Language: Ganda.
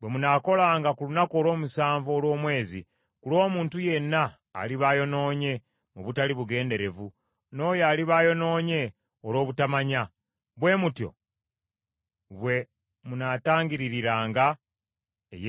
bwe munaakolanga ku lunaku olw’omusanvu olw’omwezi ku lw’omuntu yenna aliba ayonoonye mu butali bugenderevu n’oyo aliba ayonoonye olw’obutamanya; bwe mutyo bwe munaatangiriranga eyeekaalu.